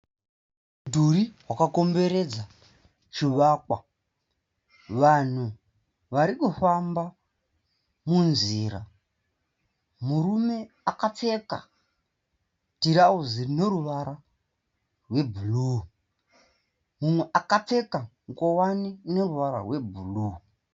Mudhuri wakakomberedza chivakwa. Vanhu varikufamba munzira. Murume akapfeka tirauzi rineruvara rwe bhuruu, mumwe wo akapfeka nguwani ine ruvara rwe bhuruu.